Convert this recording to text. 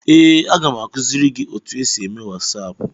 Ee, aga m akụziri gị otu esi eme wasaapụ.